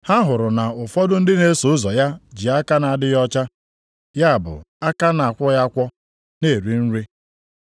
ha hụrụ na ụfọdụ ndị na-eso ụzọ ya ji aka na-adịghị ọcha, ya bụ aka a na-akwọghị akwọ, na-eri nri.